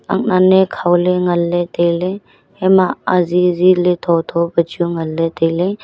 ak nan ye khole ngan le taile ya ma ajijile thotho pe chu ngan le taile.